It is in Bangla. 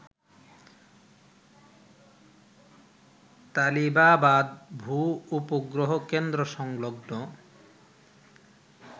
তালিবাবাদ ভূ-উপগ্রহ কেন্দ্রসংলগ্ন